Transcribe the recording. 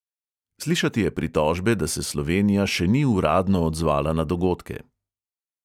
Slišati je pritožbe, da se slovenija še ni uradno odzvala na dogodke.